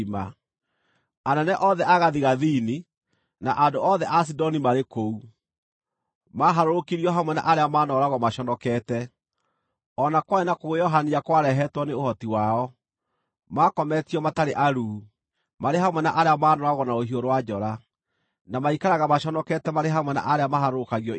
“Anene othe a gathigathini, na andũ othe a Sidoni marĩ kũu; maaharũrũkirio hamwe na arĩa maanooragwo maconokete, o na kwarĩ na kũguoyohania kwarehetwo nĩ ũhoti wao. Makometio matarĩ aruu, marĩ hamwe na arĩa maanooragwo na rũhiũ rwa njora, na maikaraga maconokete marĩ hamwe na arĩa maharũrũkagio irima.